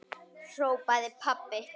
hrópaði pabbi.